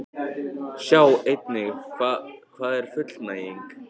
Sjá einnig: Hvað er fullnæging?